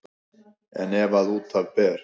En ef að út af ber